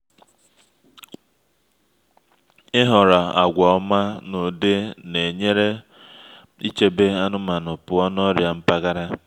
ịhọrọ àgwà ọma n’ụdị na-enyere ichebe anụmanụ pụọ n’ọrịa mpaghara